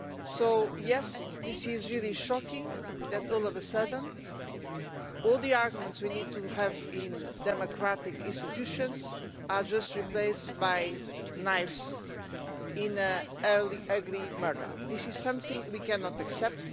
So yes, it is really shocking that all of a sudden all the arguments we need to have in democratic institutions are just replaced by knives in an ugly murder. This is something we cannot accept.